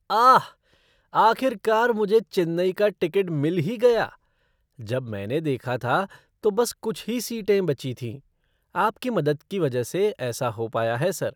आह! आखिरकार मुझे चेन्नई का टिकट मिल ही गया। जब मैंने देखा था, तो बस कुछ ही सीटें बची थीं। आपकी मदद की वजह से ऐसा हो पाया है, सर।